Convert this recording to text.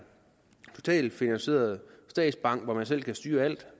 totalt finansieret statsbank hvor man selv kan styre alt